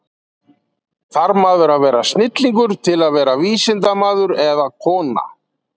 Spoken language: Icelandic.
Þarf maður að vera snillingur til að verða vísindamaður eða-kona?